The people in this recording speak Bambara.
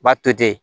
B'a to ten